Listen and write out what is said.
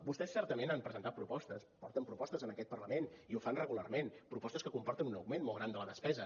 vostès certament han presentat propostes porten propostes en aquest parlament i ho fan regularment propostes que comporten un augment molt gran de la despesa